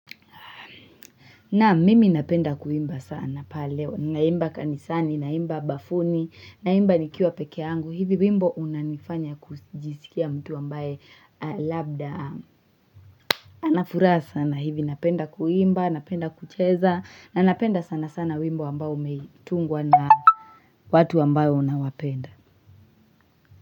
Naam mimi napenda kuimba sana pale Naimba kanisani, naimba bafuni, naimba nikiwa peke yangu. Hivi wimbo unanifanya kujisikia mtu ambaye labda. Ana furaa sana hivi napenda kuimba, napenda kucheza, na napenda sana sana wimbo ambao umetungwa na watu ambayo unawapenda.